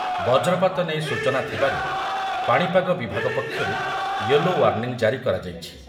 ବଜ୍ରପାତ ନେଇ ସୂଚନା ଥିବାରୁ ପାଣିପାଗ ବିଭାଗ ପକ୍ଷରୁ ୟେଲୋ ୱାର୍ଣ୍ଣିଂ ଜାରି କରାଯାଇଛି ।